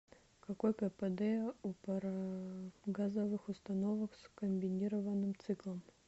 какой кпд у парогазовых установок с комбинированным циклом